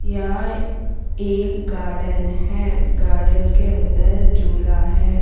यह एक गार्डन है गार्डन के अंदर झूला है।